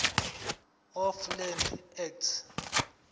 of land act